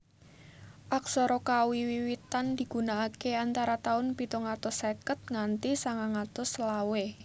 Aksara Kawi Wiwitan digunakaké antara taun pitung atus seket nganti sangang atus selawe